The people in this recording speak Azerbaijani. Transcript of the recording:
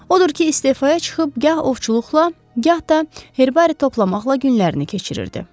Odur ki, istefaya çıxıb gah ovçuluqla, gah da herbari toplamaqla günlərini keçirirdi.